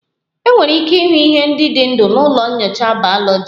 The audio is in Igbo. Enwere ike ịhụ ihe ndị dị ndụ na ụlọ nyocha bayoloji